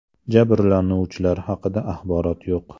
Jabrlanuvchilar haqida axborot yo‘q.